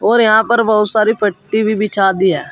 और यहां पर बहुत सारी पट्टी भी बिछा दी है।